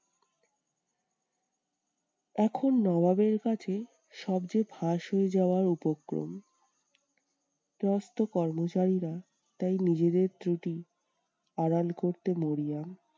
এখন নবাবের কাছে সব যে ফাঁস হয়ে যাওয়ার উপক্রম। সমস্ত কর্মচারীরা তাই নিজেদের ত্রুটি আড়াল করতে মরিয়া।